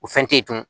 O fɛn te yen dun